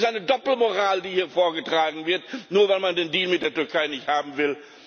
Das ist eine Doppelmoral, die hier vorgetragen wird, nur weil man den Deal mit der Türkei nicht haben will.